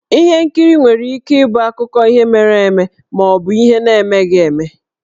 Ihe nkiri nwere ike ịbụ akụkọ ihe mere eme ma ọ bụ ihe na-emeghi eme.